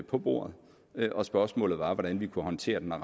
på bordet og spørgsmålet var hvordan vi kunne håndtere den